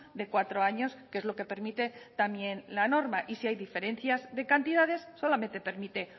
de cuatro años que es lo que permite también la norma y si hay diferencias de cantidades solamente permite